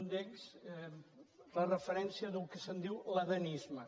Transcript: un d’ells la referència del que se’n diu l’adamisme